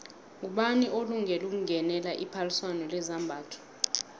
ngubani olungele ukungenela iphaliswano lezambatho